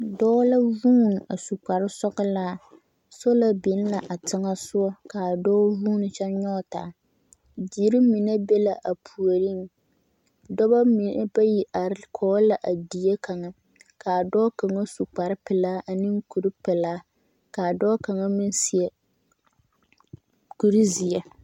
Dɔɔ la zuuni a su kpare sɔgelaa, sola biŋ la a teŋɛsogɔ ka a dɔɔ huuni kyɛ nyɔge taa, deri mine be la a puoriŋ, dɔbɔ mine bayi are kɔge la a die kaŋa k'a dɔɔ kaŋa su kpare pelaa ane kuri pelaa k'a dɔɔ kaŋa meŋ seɛ kuri zeɛ.